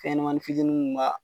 Fɛɲɛnamanin fitiininw b'a.